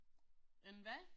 En hvad?